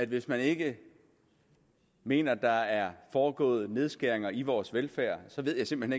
hvis man ikke mener der er foregået nedskæringer i vores velfærd så ved jeg simpelt